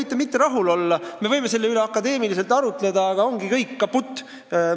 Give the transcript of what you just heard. Te võite mitte rahul olla ja me võime selle üle akadeemiliselt arutleda, aga see ongi kõik – kaputt!